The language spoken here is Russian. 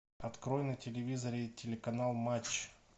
открой на телевизоре телеканал матч